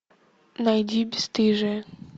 найди бесстыжие